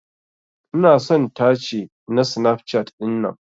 Ina son tace na Snapchat dinnan.